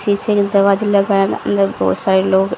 शीशे के दरवाजे बहोत सारे लोग--